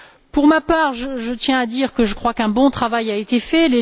Pour ma part, je tiens à dire que je crois qu'un bon travail a été fait.